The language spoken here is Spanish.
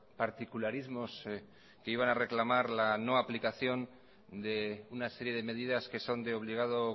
particularismos que iban a reclamar la no aplicación de una serie de medidas que son de obligado